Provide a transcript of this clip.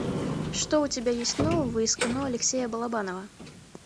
что у тебя есть нового из кино алексея балабанова